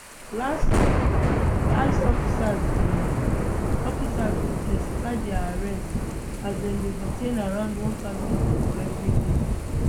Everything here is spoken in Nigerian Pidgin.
last week ice officers bin officers bin in ten sify dia arrests as dem dey detain around one thousand pipo evri day